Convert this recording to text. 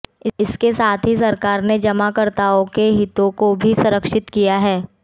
इसके साथ ही सरकार ने जमाकर्ताओं के हितों को भी संरक्षित किया है